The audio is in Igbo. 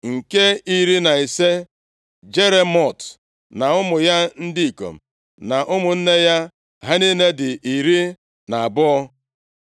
Nke iri na ise, Jeremot na ụmụ ya ndị ikom na ụmụnne ya. Ha niile dị iri na abụọ (12).